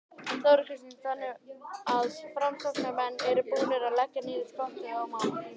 Þóra Kristín: Þannig að framsóknarmenn eru búnir að leggja niður skottið í málinu?